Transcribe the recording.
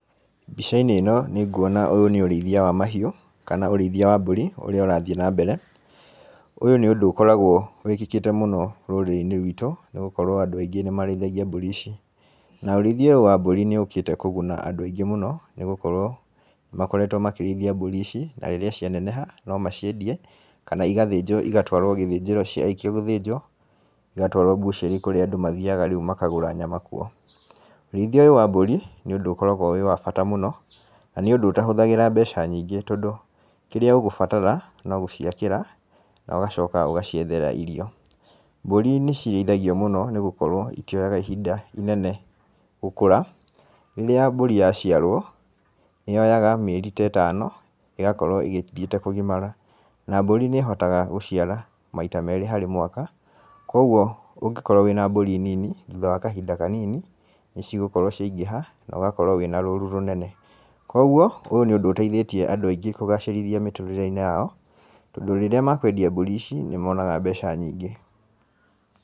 Mbica-inĩ ĩno, nĩ nguona ũyũ nĩ ũrĩithia wa mahiũ, kana ũrĩithia wa mbũri, ũrĩa ũrathiĩ na mbere. Ũyũ nĩ ũndũ ũkoragwo wĩkĩkĩte mũno rũrĩrĩ-inĩ ruitũ, nĩ gũkorwo andũ aingĩ nĩ marĩithagia mbũri ici. Na ũrĩithia ũyũ wa mbũri nĩ ũũkĩte kũguna andũ aingĩ mũno, nĩ gũkorwo makoretwo makĩrĩithia mbũri ici, na rĩrĩa cianeneha, no maciendie, kana igathĩnjwo igatũarwo gĩthĩnjĩro ciarĩkia gũthĩnjwo igatwarwo mbucĩrĩ kũrĩa andũ rĩu mathiaga makagũra nyama kuo. Ũrĩithia ũyũ wa mbũri, nĩ ũndũ ũkoragwo wĩ wa bata mũno, na nĩ ũndũ ũtahũthagĩra mbeca nyingĩ tondũ, kĩrĩa ũgũbatara, no gũciakĩra, na ũgacoka ũgaciethera irio. Mbũri nĩ cirĩithagio mũno nĩ gũkorwo itioyaga ihinda inene gũkũra. Rĩrĩa mbũri yaciarwo, nĩ yoyaga mĩeri ta ĩtano ĩgakorwo ĩgĩthiĩte kũgimara. Na mbũri nĩ ĩhotaga gũciara maita meerĩ harĩ mwaka. Kũguo ũngĩkorwo wĩna mbũri nini, thutha wa kahinda kanini, nĩ cigũkorwo ciaingĩha, na ũgakorwo wĩna rũru rũnene. Kũguo ũyũ nĩ ũndũ ũteithĩtie andũ aingĩ kũgacĩrithia mĩtũrĩre-inĩ yao, tondũ rĩrĩa mekũendia mbũri ici, nĩ monaga mbeca nyingĩ.